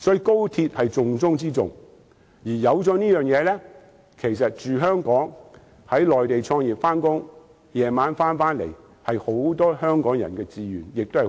高鐵是重中之重，有了高鐵後，居住在香港，在內地創業上班，晚上回到香港是很多香港人和年青人的志願。